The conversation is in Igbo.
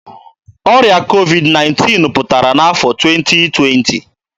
Ọrịa COVID-19 pụtara n'afọ 2020.